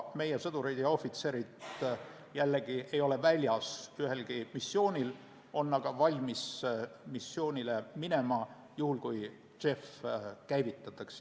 Meie sõdurid ja ohvitserid jällegi ei ole väljas ühelgi missioonil, aga on valmis missioonile minema juhul, kui JEF käivitatakse.